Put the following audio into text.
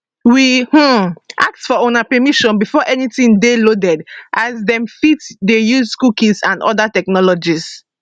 we um ask for una permission before anytin dey loaded as dem fit dey use cookies and oda technologies